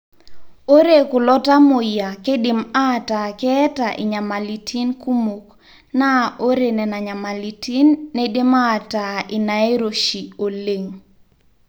ore kulo tamuoyia keidim ataa keeta inyamalitin kumok naa ore nenanyamalitin neidim aataa inairoshi oleng.